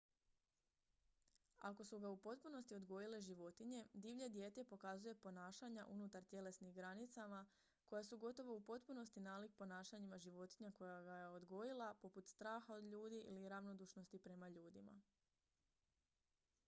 ako su ga u potpunosti odgojile životinje divlje dijete pokazuje ponašanja unutar tjelesnih granicama koja su gotovo u potpunosti nalik ponašanjima životinje koja ga je odgojila poput straha od ljudi ili ravnodušnosti prema ljudima